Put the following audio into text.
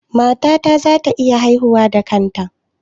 Matata za ta iya haihuwa da kanta?